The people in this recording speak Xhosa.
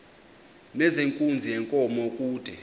nezenkunzi yenkomo kude